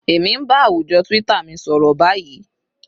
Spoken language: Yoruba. Èmi ń bá àwùjọ twitter mi sọ̀rọ̀ báyìí